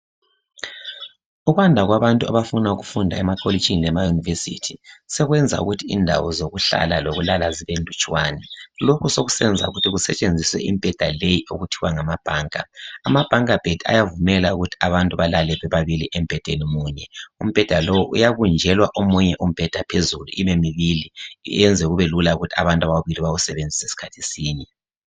Ukwanda kwabantu abafunda emakolitshini lema university sekwenza ukuthi indawo zokuhlala lokulala zibenlutshwana lokhu sokusenza ukuthi kusetshenziswe imbheda leyi okuthiwa ngamabhanka. Amabhanka bed ayavumela ukuthi abantu balale bebabili embhedeni munye umbheda lowu uyabunjelwa omunye umbheda phezulu ibe mibili iyenze kube lula ukuthi abantu ababili bawusebenzise sikhathi sinye